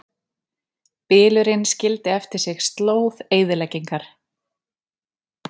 Bylurinn skildi eftir sig slóð eyðileggingar